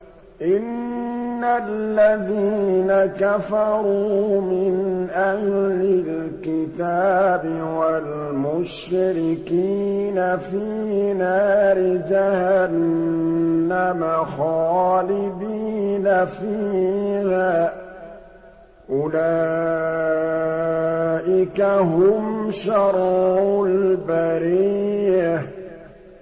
إِنَّ الَّذِينَ كَفَرُوا مِنْ أَهْلِ الْكِتَابِ وَالْمُشْرِكِينَ فِي نَارِ جَهَنَّمَ خَالِدِينَ فِيهَا ۚ أُولَٰئِكَ هُمْ شَرُّ الْبَرِيَّةِ